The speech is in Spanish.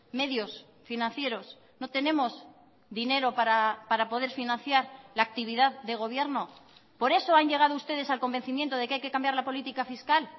medios financieros no tenemos dinero para poder financiar la actividad de gobierno por eso han llegado ustedes al convencimiento de que hay que cambiar la política fiscal